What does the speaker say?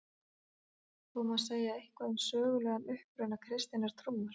Þó má segja eitthvað um sögulegan uppruna kristinnar trúar.